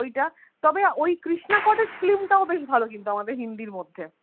ওই যা তবে ওই কৃষ্ণা কটেজ film টাও বেশ ভালো কিন্তু আমাদের হিন্দির মধ্যে